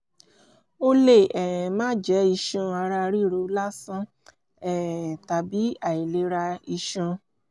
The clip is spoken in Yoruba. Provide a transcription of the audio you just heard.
ó lè um máà jẹ́ iṣan ara ríro lásán um tàbí àìlera iṣan